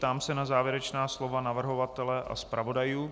Ptám se na závěrečná slova navrhovatele a zpravodajů.